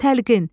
Təlqin,